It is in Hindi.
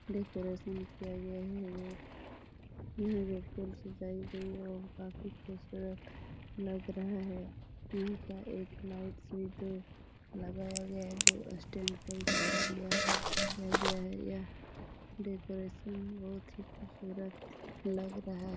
डेकोरेशन किया गया है ये यहाँ जो फूल सजाई गई है वो काफी खुबसूरत लग रहा है यहाँ पर एक लाइट सी दो लगाया गया है जो स्टैंड पर इसको तैयार किया गया है यह डेकोरेशन बहुत ही खुबसूरत लग रहा है।